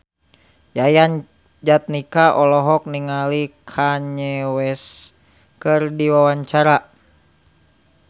Yayan Jatnika olohok ningali Kanye West keur diwawancara